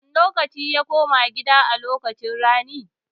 A wane lokaci ya koma gida a lokacin rani?